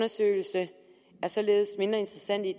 som